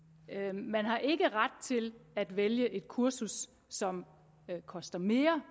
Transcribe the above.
man har ikke ret til at vælge et kursus som koster mere